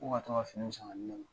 Ko ka to ka finiw san ka di ne ma.